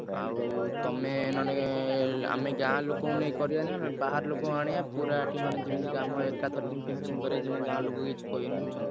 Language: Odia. ଆଉ ତମେ ନହେଲେ ଆମେ ଗାଁ ଲୋକଙ୍କୁ ନେଇ କରିଆନି ଆମେ ବାହାରଲୋକଙ୍କୁ ଆଣିଆ ପୁରା ଏଠି ମାନେ କାମ ଯେମତି ଏକାଥରେ ଯେମତି finishing କରିଆ ଯେମତି ଗାଁ ଲୋକ କିଛି କହିବେନି ବୁଝୁଛ ନାଁ।